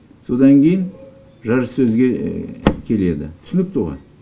содан кейін жарыс сөзге келеді түсінікті ғой